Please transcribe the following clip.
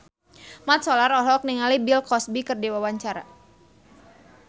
Mat Solar olohok ningali Bill Cosby keur diwawancara